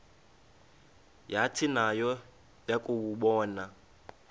yathi nayo yakuwabona